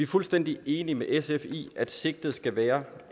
fuldstændig enige med sf i at sigtet skal være